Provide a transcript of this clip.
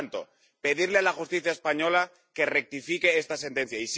Por lo tanto, pedirle a la justicia española que rectifique esta sentencia.